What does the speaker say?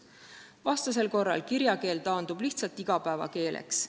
Vastasel korral taandub kirjakeel lihtsalt igapäevakeeleks.